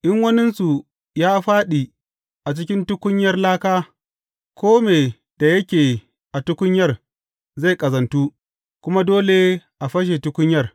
In waninsu ya fāɗi a cikin tukunyar laka, kome da yake a tukunyar zai ƙazantu, kuma dole a fashe tukunyar.